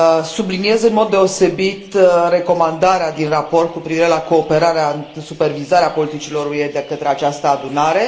Subliniez în mod deosebit recomandarea din raport cu privire la cooperarea în supervizarea politicilor UE de către această adunare.